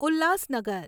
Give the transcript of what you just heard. Ulhasnagar